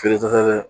Feere fɛn tɛ dɛ